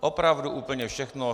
Opravdu úplně všechno.